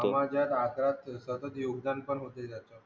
समाजात सतत योगदान पण होते त्याचा